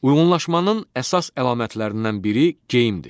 Uyğunlaşmanın əsas əlamətlərindən biri geyimdir.